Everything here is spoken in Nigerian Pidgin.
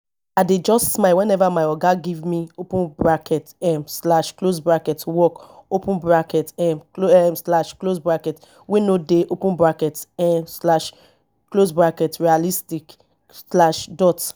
i dey just smile weneva my oga give me open bracket um slash close bracket work open bracket um slash close bracket wey no dey open bracket um slash close bracket realistic slash dot